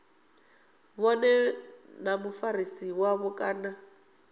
vhone na mufarisi wavho kana